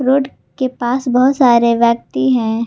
Road के पास बहुत सारे व्यक्ति हैं।